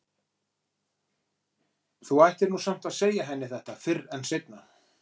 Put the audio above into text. Þú ættir nú samt að segja henni þetta fyrr en seinna.